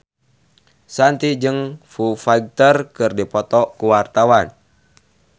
Shanti jeung Foo Fighter keur dipoto ku wartawan